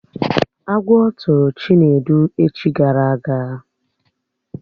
Agwọ tụrụ Chinedu echi gara aga